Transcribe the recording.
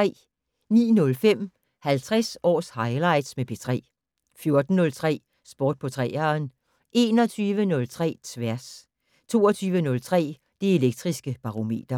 09:05: 50 års highlights med P3 14:03: Sport på 3'eren 21:03: Tværs 22:03: Det Elektriske Barometer